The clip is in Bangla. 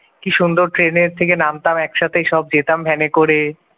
কি সুন্দর ট্রেনে থেকে নামতাম একসাথে এসব যেতাম ভ্যানে করে